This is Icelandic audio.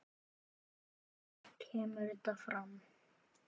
kemur þetta fram